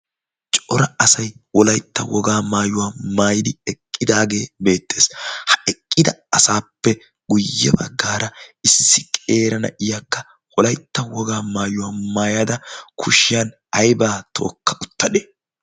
cora asai wolaitta wogaa maayuwaa maayidi eqqidaagee beettees ha eqqida asaappe guyye baggaara issi qeerana iyakka wolaitta wogaa maayuwaa maayada kushiyan aibaa tookka uttade